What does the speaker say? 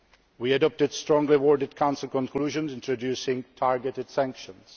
We adopted strongly worded Council conclusions introducing targeted sanctions.